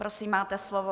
Prosím, máte slovo.